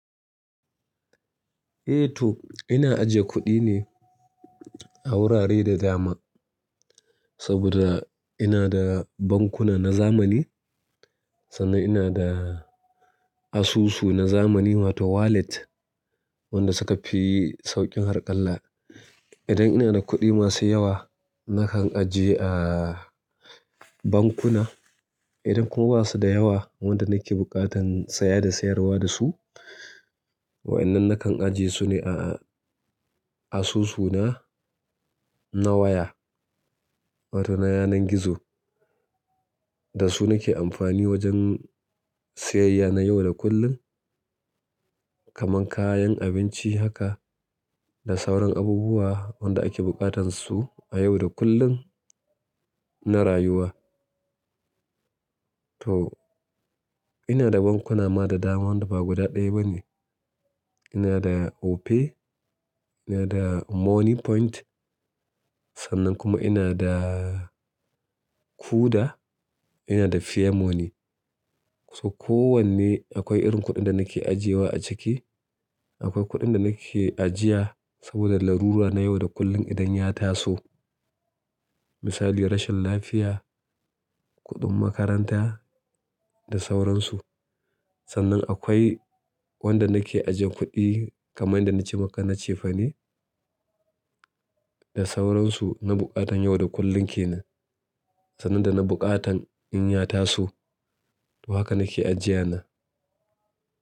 Eh to ina ajiye kuɗi ne a wurare da dama. Saboda ina da bankuna na zamani sannan ina da asusu na zamani wato wallet wanda suka fi sauƙin harƙalla. Idan ina da kuɗi masu yawa nakan ajiye a bankuna. Idan kuma ba suda yawa wanda nake buƙatan siya da siyarwa dasu wa'yannan nakan ajiye su ne a asusuna na waya wato na yanar gizo. Da su nake amfani wajen siyayya na yau da kullum kamar kayan abinci haka da sauran abubuwa wanda ake buƙatan su a yau da kullum na rayuwa. To ina da bankuna ma da dama wanda ba guda ɗaya ba ne. Ina da Opay, ina da Moniepoint sannan kuma ina da kuda, ina da fairmoney. So kowanne akwai irin kuɗin da nake ajiyewa a ciki. Akwai kuɗin da nake ajiya saboda larura na yau da kullum idan ya taso. Misali, rashin lafiya, kuɗin makaranta da sauransu. Sannan akwai wanda nake ajiye kuɗi kamar yadda na ce maka na cefane da sauransu na buƙatar yau da kullum kenan sannan dana buƙatar inya taso to haka nake ajiya na.